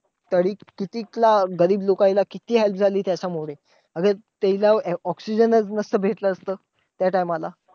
तरी कितीक ला गरीब लोकांना किती help झाली त्याच्यामुळे. त्याला ऑक्सिजनचं नसतं भेटलं, त्या time ला.